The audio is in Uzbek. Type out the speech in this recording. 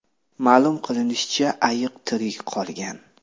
Ma’lum qilinishicha, ayiq tirik qolgan.